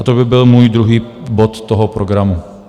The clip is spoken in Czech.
A to by byl můj druhý bod toho programu.